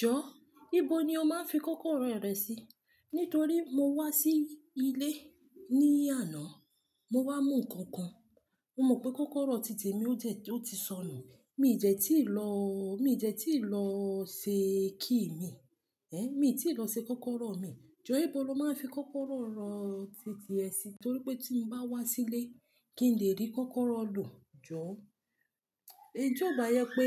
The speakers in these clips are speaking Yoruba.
Jọ, níbo ni o máa ń fi kọ́kọ́rọ́ rẹ sí? Nítorí mo wá sí ilé ní àná, mo wá mú nnkan kan. Mo mọ̀ pé kọ́kọ́rọ́ tìtì mi ó dẹ̀, ó ti sọnù. Mi dẹ́ tí ì lọ́, mi dẹ́ tí lọ ṣe kí mi. Mi ò tí ì lọ ṣe kọ́kọ́rọ́ mi. Jọ, níbo lo máa ń fi kọ́kọ́rọ́ rẹ tìtì ẹ sí? Nítorí pé tí mo bá wá sílé, kí n lè rí kọ́kọ́rọ́ lò. Jọ, tí ò bá yẹ pé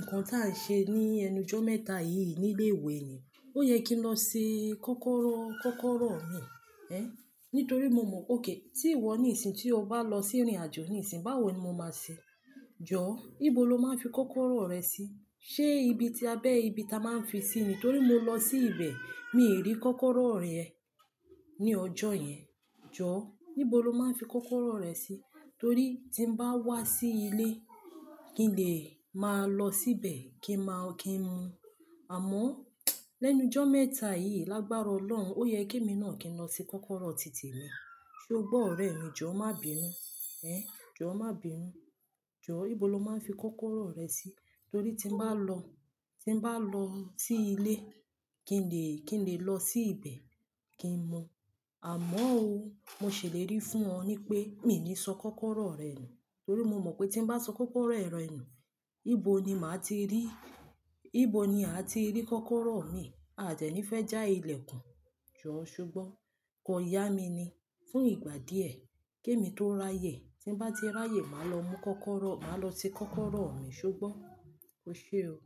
nǹkan tí à ń ṣe ní ẹnujọ́ mẹ́ta yìí ní ilé ìwé ni. Ó yẹ kí n lọ ṣe kọ́kọ́rọ́, kọ́kọ́rọ́ mi. Nítorí mo mọ̀ pé ok, tí ì wọ ní ìsìn, tí o bá lọ sí ìrìnàjò ní ìsìn, báwo ni mo máa ṣe? Jọ, níbo lo máa ń fi kọ́kọ́rọ́ rẹ sí? Ṣé ibi tí abẹ́ ibi tí a máa ń fi sí ni? Nítorí mo lọ sí ibẹ̀, mi ò rí kọ́kọ́rọ́ rẹ ní ọjọ́ yẹn. Jọ, níbo lo máa ń fi kọ́kọ́rọ́ rẹ sí? Torí tí mo bá wá sí ilé, kí n lè máa lọ síbẹ̀ kí ma-- kí n mu. Àmọ́, lẹ́nu jọ́ mẹ́ta yìí, lágbára Ọlọ́run, ó yẹ kí èmi náà kí n lọ ṣe kọ́kọ́rọ́ tì temi. Sé o gbọ́ ọ̀rẹ́ mi, jọ má bí i nu. Ehn, jọ má bí i nu. Jọ, níbo lo máa ń fi kọ́kọ́rọ́ rẹ sí? Nítorí tí mo bá lọ, tí mo bá lọ sí ilé, kí n lè, kí n lè lọ sí ibẹ̀ kí n mu. Àmọ́ o, mo ṣèlérí fún ọ ní pé mi ò ní sọ kọ́kọ́rọ́ rẹ nù. Nítorí mo mọ̀ pé tí mo bá sọ kọ́kọ́rọ́ rẹ nù, níbo ni màá ti rí, níbo ni a ti rí kọ́kọ́rọ́ mi. A dẹ̀ ní fẹ́ já ilẹ̀ kun. Jọ, ṣubọ́, kan yá mi ni. Fún ìgbà díẹ̀, kémi tó ráyè. Tí mu bá ti ráyè, màá lọ mú kọ́kọ́rọ́, màá lọ ṣe kọ́kọ́rọ́ mi ṣubọ́. O ṣe o.